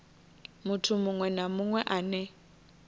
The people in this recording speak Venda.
muthu muṅwe na muṅwe ane